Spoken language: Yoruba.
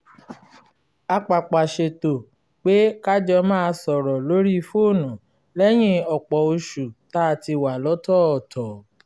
a pàpà ṣètò pé ka jọ máa sọ̀rọ̀ lórí fóònù lẹ́yìn ọ̀pọ̀ oṣù tá a ti wà lọ́tọ̀ọ̀tọ̀